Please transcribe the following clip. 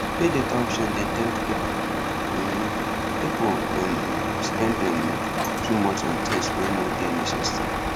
pay later option dey tempt people um people um spend um too much on things wey no dey necessary